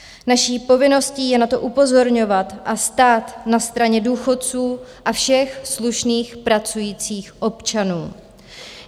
Naší povinností je na to upozorňovat a stát na straně důchodců a všech slušných pracujících občanů.